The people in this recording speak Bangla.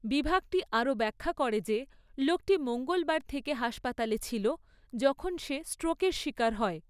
বিভাগটি আরও ব্যাখ্যা করে যে লোকটি মঙ্গলবার থেকে হাসপাতালে ছিল যখন সে স্ট্রোকের শিকার হয়।